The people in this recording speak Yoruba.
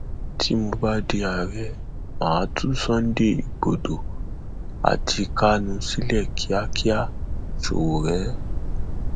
tí mo bá di ààrẹ má a tú sunday igbodò àti kánú sílẹ kíákíá sowore